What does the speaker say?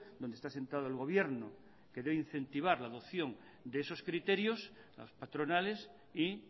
donde está sentado el gobierno que incentivar la adopción de esos criterios a las patronales y